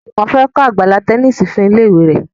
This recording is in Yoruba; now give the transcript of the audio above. Juwon fè kò Àgbàlá Tẹníìsì fún ilé ìwé rẹ.